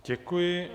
Děkuji.